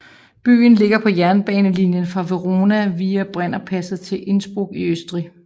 Byen ligger på jernbanelinien fra Verona via Brennerpasset til Innsbruck i Østrig